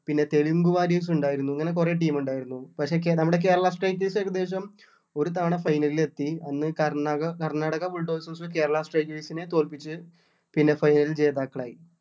പിന്നെ തെലുങ്കു warriors ഉണ്ടായിരുന്നു ഇങ്ങനെ കൊറേ team ഉണ്ടായിരുന്നു പക്ഷെ കേ നമ്മുടെ കേരള strikers ഏകദേശം ഒരു തവണ final ൽ എത്തി അന്ന് കർണാക കർണാടക bulldozers കേരള strikers നെ തോൽപ്പിച്ച് പിന്നെ final ൽ ജേതാക്കളായി